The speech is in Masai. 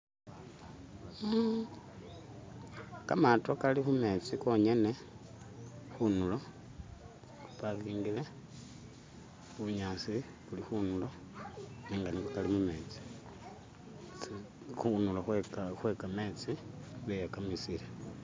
Kamato gali kumenzi gonyene, kunturo gapakingire, bunyasi buli kunturo, nenga nigo gali mumenzi, kunturo kwe gamenzi beyagamisire